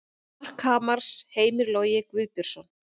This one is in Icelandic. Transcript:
Mark Hamars: Heimir Logi Guðbjörnsson